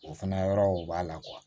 O fana yɔrɔw b'a la